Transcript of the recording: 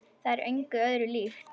Það er engu öðru líkt.